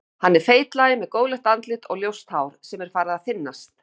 Hann er feitlaginn með góðlegt andlit og ljóst hár sem er farið að þynnast.